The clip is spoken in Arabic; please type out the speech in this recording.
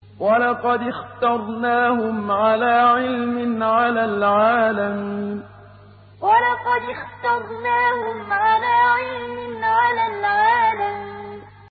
وَلَقَدِ اخْتَرْنَاهُمْ عَلَىٰ عِلْمٍ عَلَى الْعَالَمِينَ وَلَقَدِ اخْتَرْنَاهُمْ عَلَىٰ عِلْمٍ عَلَى الْعَالَمِينَ